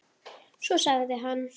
Svo sagði hann